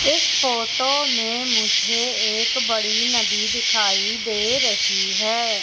इस फोटो में मुझे एक बड़ी नदी दिखाई दे रही है।